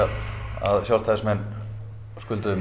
að Sjálfstæðismenn skulduðu mér